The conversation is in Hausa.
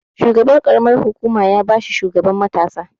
Shugaban ƙaramar hukuma ya ba shi shugaban matasa.